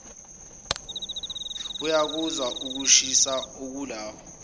uyakuzwa ukushisa okulapha